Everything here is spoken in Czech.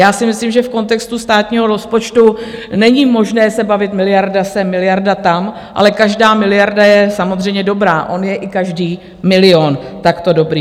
Já si myslím, že v kontextu státního rozpočtu není možné se bavit miliarda sem, miliarda tam, ale každá miliarda je samozřejmě dobrá, on je i každý milion takto dobrý.